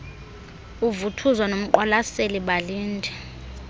uvuthuza nomqwalaseli balinde